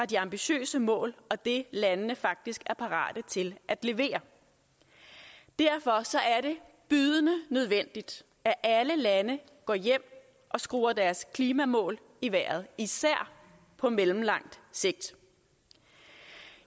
de ambitiøse mål og det landene faktisk er parate til at levere derfor er det bydende nødvendigt at alle lande går hjem og skruer deres klimamål i vejret især på mellemlang sigt